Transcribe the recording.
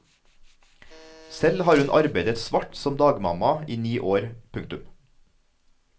Selv har hun arbeidet svart som dagmamma i ni år. punktum